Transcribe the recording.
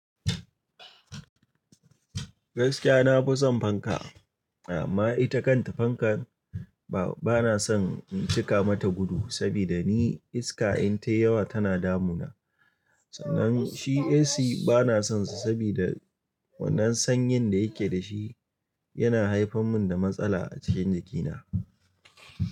Gaskiya na fi son fanka amma ita kanta fankar ba, bana son in cika mata gudu saboda ni iska in tayi yawa tana damuna. Sannan shi AC bana sonsa saboda wannan sanyin da yake dashi yana haifarmini da matsala a cikin jikina.